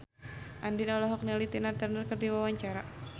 Andien olohok ningali Tina Turner keur diwawancara